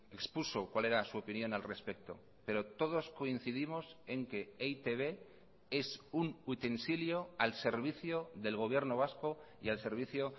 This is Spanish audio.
expuso cuál era su opinión al respecto pero todos coincidimos en que e i te be es un utensilio al servicio del gobierno vasco y al servicio